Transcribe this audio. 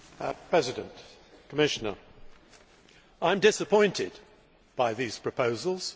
Mr President, Commissioner, I am disappointed by these proposals.